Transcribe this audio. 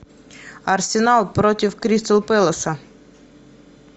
арсенал против кристал пэласа